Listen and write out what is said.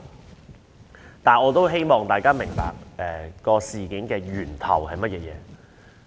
然而，我希望大家能明白事件的起因是甚麼。